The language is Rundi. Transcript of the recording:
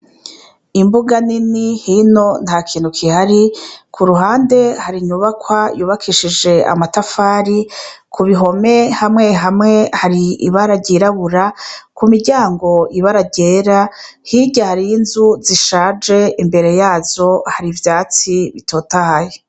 Imbuga nini hino ntakintu kihari, k'uruhande hino har'inyubakwa yubakishije amatafari, k'uruhome hamwe hamwe hari ibara ryirabura, k'umuryango ibara ryera, hirya har'inzu zishaje imbere yazo har'ivyatsi bitotahaye.